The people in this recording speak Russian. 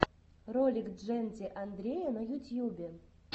ролик джэнди андрея на ютьюбе